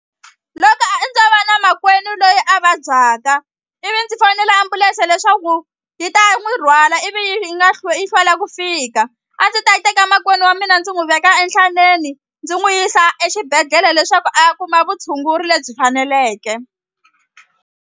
Loko a ndzo va na makwenu loyi a vabyaka ivi ndzi fonela ambulense leswaku yi ta n'wi rhwala ivi yi nga yi hlwela ku fika a ndzi ta teka makwenu wa mina ndzi n'wi veka enhlanzeni ndzi n'wi yisa exibedhlele leswaku a ya kuma vutshunguri lebyi faneleke.